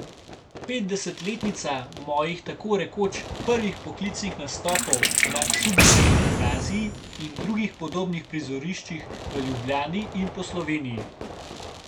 Petdesetletnica mojih tako rekoč prvih poklicnih nastopov na Šubičevi gimnaziji in drugih podobnih prizoriščih v Ljubljani in po Sloveniji.